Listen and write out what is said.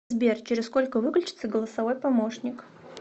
сбер через сколько выключится голосовой помощник